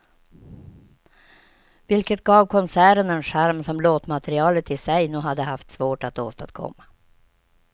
Vilket gav konserten en charm som låtmaterialet i sig nog hade haft svårt att åstadkomma.